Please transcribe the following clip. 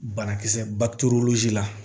Banakisɛ baturu la